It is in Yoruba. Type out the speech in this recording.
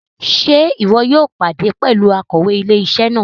Ṣe ìwò yóò pàdé pẹlú Akòwé ilé-isé náà?